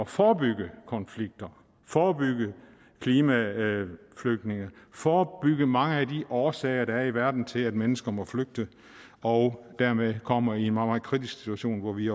forebygge konflikter forebygge klimaflygtninge forebygge mange af de årsager der er i verden til at mennesker må flygte og dermed kommer i en meget meget kritisk situation hvor vi